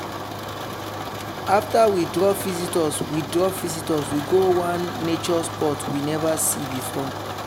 after we drop visitors we drop visitors we go one nature spot we never see before.